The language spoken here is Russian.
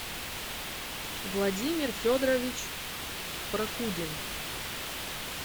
владимир федорович прокудин